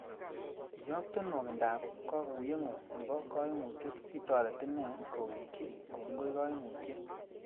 Iyokte nokwinda ab kokuyengu nebo koimutiet sitoret ine kowegyi kongoi koimutiet.